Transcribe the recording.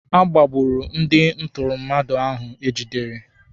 A gbagburu ndị ntụrụ mmadụ ahụ egidere.